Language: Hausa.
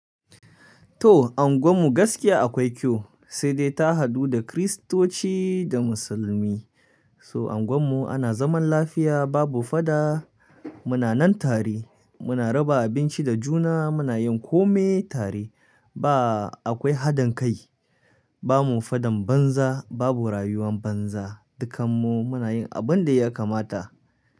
To a unguwanmu gaskiya akwai kyau, sai dai ta hadu da Kiristoci da Musulmi. So angonmu ana zaman lafiya babu fada, muna nan tare, muna raba abinci da juna, muna yin kome tare ba akwai hadin kai. Ba mu fadan banza, babu rayuwan banza, dukanmu muna yin abin da ya kamata.